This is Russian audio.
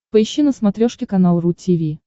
поищи на смотрешке канал ру ти ви